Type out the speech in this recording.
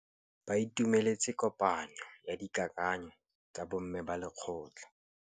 Ba itumeletse kôpanyo ya dikakanyô tsa bo mme ba lekgotla.